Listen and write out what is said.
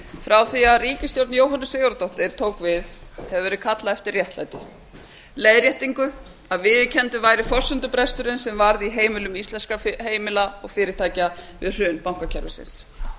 frá því að ríkisstjórn jóhönnu sigurðardóttur tók við hefur verið kallað eftir réttlæti leiðréttingu að viðurkenndur væri forsendubresturinn sem varð í heimilum íslenskra heimila og fyrirtækja við hrun bankakerfisins